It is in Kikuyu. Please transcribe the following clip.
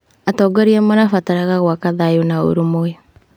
Atongoria marabataraga gwaka thayũ na ũrũmwe.